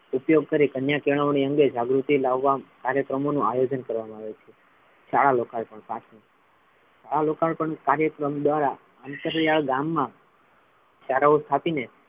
ઉપયોગ કરી કન્યા કેળવણી અંગે જાગૃતિ લાવવા કાર્યક્રમો નુ આયોજન કરવામા આવે છે શાળા શાળા લોકાય પણ કાર્યક્રમ દ્વારા અંતરિયા ગામમા શાળાઓ સ્થાપી ને,